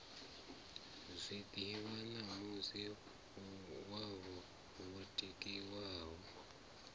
zwiḓivha ṋamusi wovha wo tikiwa